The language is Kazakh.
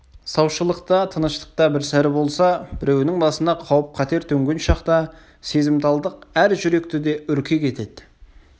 саушылықта тыныштықта бір сәрі болса біреуінің басына қауіп-қатер төнген шақта сезімталдық әр жүректі де үркек етеді